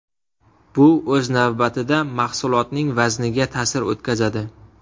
Bu o‘z navbatida mahsulotning vazniga ta’sir o‘tkazadi.